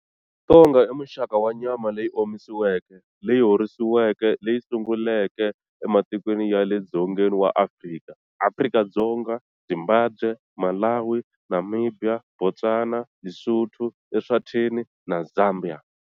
Ntonga i muxaka wa nyama leyi omisiweke, leyi horisiweke leyi sunguleke ematikweni ya le Dzongeni wa Afrika, Afrika-Dzonga, Zimbabwe, Malawi, Namibia, Botswana, Lesotho, Eswatini, na Zambia.